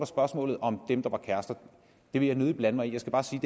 spørgsmål om dem der er kærester det vil jeg nødig blande mig i jeg skal bare sige